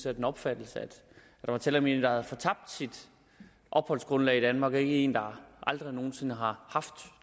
af den opfattelse at der er tale om en der havde fortabt sit opholdsgrundlag i danmark og en der aldrig nogen sinde har haft